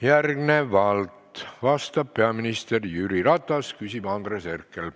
Järgnevalt vastab peaminister Jüri Ratas, küsib Andres Herkel.